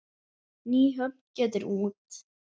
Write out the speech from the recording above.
Nýhöfn getur út.